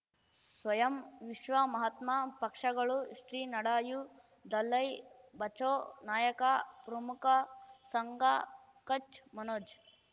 ಸ್ವಯಂ ವಿಶ್ವ ಮಹಾತ್ಮ ಪಕ್ಷಗಳು ಶ್ರೀ ನಡೆಯೂ ದಲೈ ಬಚೌ ನಾಯಕ ಪ್ರಮುಖ ಸಂಘ ಕಚ್ ಮನೋಜ್